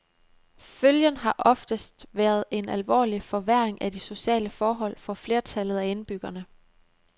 Følgen har oftest været en alvorlig forværring af de sociale forhold for flertallet af indbyggerne.